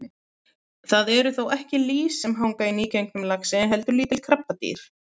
Það eru þó ekki lýs sem hanga á nýgengnum laxi heldur lítil krabbadýr.